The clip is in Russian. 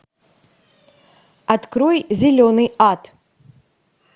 открой зеленый ад